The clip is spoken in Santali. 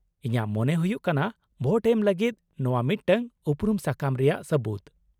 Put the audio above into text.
-ᱤᱧᱟᱹᱜ ᱢᱚᱱᱮ ᱦᱩᱭᱩᱜ ᱠᱟᱱᱟ ᱵᱷᱳᱴ ᱮᱢ ᱞᱟᱹᱜᱤᱫ ᱱᱚᱶᱟ ᱢᱤᱫᱴᱟᱝ ᱩᱯᱨᱩᱢ ᱥᱟᱠᱟᱢ ᱨᱮᱭᱟᱜ ᱥᱟᱹᱵᱩᱫᱽ ᱾